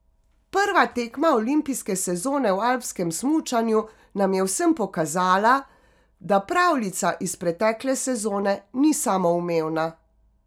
Prva tekma olimpijske sezone v alpskem smučanju nam je vsem pokazala, da pravljica iz pretekle sezone ni samoumevna.